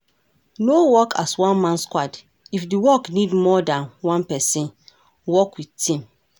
No work as one man squad, if di work need more than one person, work with team